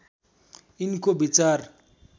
यिनको विचार